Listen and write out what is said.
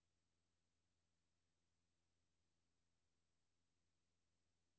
Fremhæv markerede filer i dokumentoversigt.